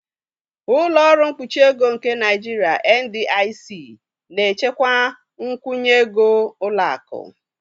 Ụlọ ọrụ mkpuchi ego nke Naijiria (NDIC) na-echekwa nkwụnye ego ụlọ akụ.